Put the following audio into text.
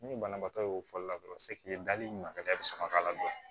Ni banabaatɔ y'o fɔli la dɔrɔn dali ma ka sɔrɔ ka ladɔn